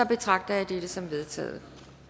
betragter jeg dette som vedtaget